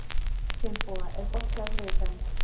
Finnboga, er bolti á þriðjudaginn?